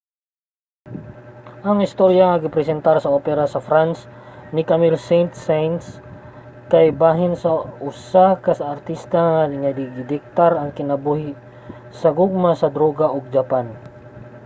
ang istorya nga gipresentar sa opera sa france ni camille saint-saens kay bahin sa usa ka artista nga gidiktar ang kinabuhi sa gugma sa droga ug japan